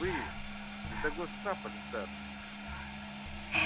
вы не того сцапали сэр